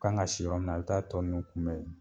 Kan ka si yɔrɔ min na a bɛ taa tɔ nunnu kunbɛn